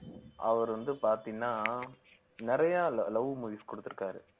அவர் வந்து பார்த்தீங்கன்னா நிறைய lo~ love movies குடுத்திருக்காரு